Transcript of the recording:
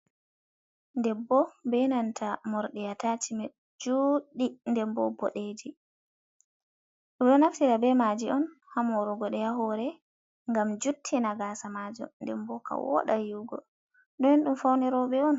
Debbo bee nanta morɗi ataacimen juuɗɗi nden boɗeeji ɓe ɗo naftira bee maaji on haa moorugo haa hoore ngam juttina gaasa maajum nden boo ka wooda yi'ugo, nden ɗum ɗo fawnw rooɓe on.